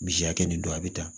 Misi hakɛ nin don a bɛ tan